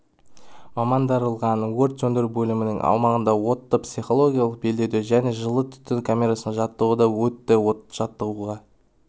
мамандандырылған өрт сөндіру бөлімінің аумағында отты психологиялық белдеуде және жылу түтін камерасында жаттығудан өтті жаттығуға